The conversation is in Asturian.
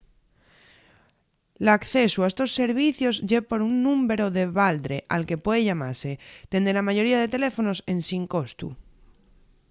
l'accesu a estos servicios ye por un númberu de baldre al que puede llamase dende la mayoría de teléfonos ensin costu